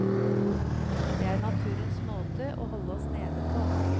Det er naturens måte å holde oss nede på.